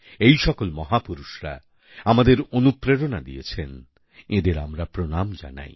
এই সকল মহাপুরুষরা আমাদের অনুপ্রেরণা দিয়েছেন এঁদের আমরা প্রণাম জানাই